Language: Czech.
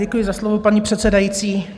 Děkuji za slovo, paní předsedající.